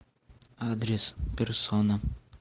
адрес персона